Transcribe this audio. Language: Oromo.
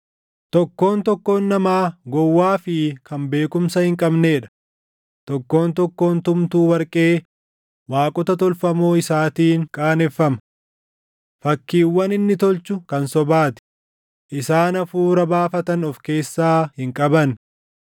“Tokkoon tokkoon namaa gowwaa fi kan beekumsa hin qabnee dha; tokkoon tokkoon tumtuu warqee waaqota tolfamoo isaatiin qaaneffama. Fakkiiwwan inni tolchu kan sobaa ti; isaan hafuura baafatan of keessaa hin qaban.